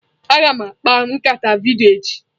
Aga m akpa nkata vidiyo echi.